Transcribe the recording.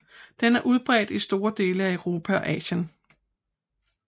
Den er udbredt i store dele af Europa og Asien